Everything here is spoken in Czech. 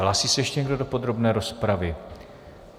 Hlásí se ještě někdo do podrobné rozpravy?